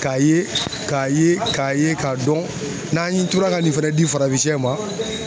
K'a ye k'a ye k'a ye k'a dɔn n'an ye tora ka nin fɛnɛ di farafinsɛ ma